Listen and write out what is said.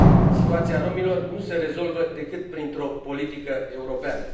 Situația romilor nu se rezolvă decât printr o politică europeană.